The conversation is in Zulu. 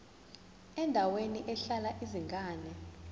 endaweni ehlala izingane